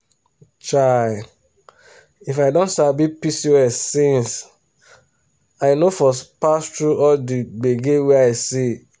chai! if i don sabi pcos since i no for pass through all the gbege wey i see.